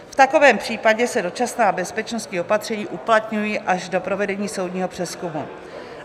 V takovém případě se dočasná bezpečnostní opatření uplatňují až do provedení soudního přezkumu."